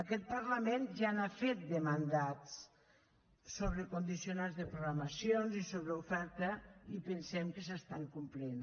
aquest parlament ja n’ha fet de mandats sobre condicionants de programacions i sobre oferta i pensem que s’estan complint